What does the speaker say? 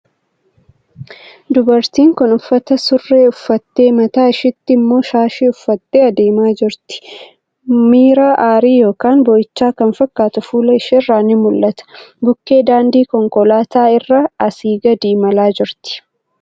Dubartiin kun uffata surree uffattee, mataa ishiitti immoo shaashii uffattee adeemaa jirti. Miira aarii yookiin boo'ichaa kan fakkaatu fuula isheerraa ni mul'ata. Bukkee daandii konkolaataa irra asii gadi imalaa jirti.